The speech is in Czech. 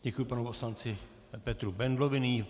Děkuji panu poslanci Petru Bendlovi.